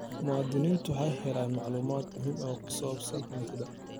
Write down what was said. Muwaadiniintu waxay helayaan macluumaad muhiim ah oo ku saabsan hantida.